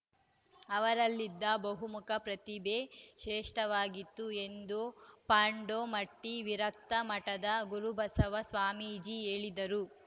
ಅವರಲ್ಲಿದ್ದ ಬಹುಮುಖ ಪ್ರತಿಭೆ ಶ್ರೇಷ್ಠವಾಗಿತ್ತು ಎಂದು ಪಾಂಡೋಮಟ್ಟಿವಿರಕ್ತ ಮಠದ ಗುರುಬಸವ ಸ್ವಾಮೀಜಿ ಹೇಳಿದರು